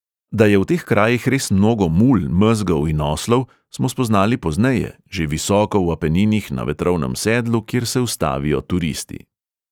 Da je v teh krajih res mnogo mul, mezgov in oslov, smo spoznali pozneje, že visoko v apeninih, na vetrovnem sedlu, kjer se ustavijo turisti.